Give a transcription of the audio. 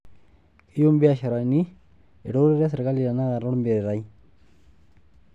Keyie mbiashari eretoto e serkali tenakata olmeitai.